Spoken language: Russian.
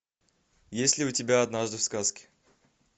есть ли у тебя однажды в сказке